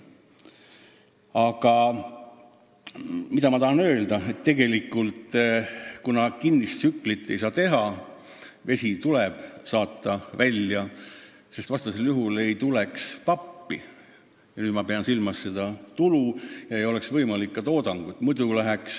Aga mida ma tahan öelda, on see: kuna kinnist tsüklit ei saa teha ja vesi tuleb tehasest välja saata, sest vastasel juhul ei tuleks pappi – nüüd pean silmas saadavat tulu – ja ei oleks võimalik üldse toota.